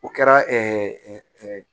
O kɛra